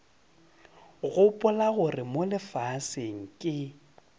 gopola gore mo lefaseng ke